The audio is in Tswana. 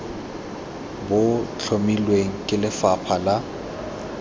bo tlhomilweng ke lefapha la